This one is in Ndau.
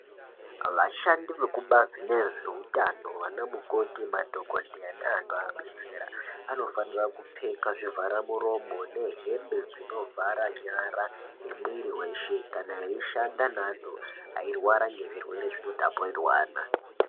Vashandi vekubazi rezvehutano vana mukoti madhokodheya vanovabetsera vanofana kupfeka zvivhara muromo nehembe dzinovhara nyara nemwiri weshe kana achishanda neantu airwara zvirwere zvinotapurirwana.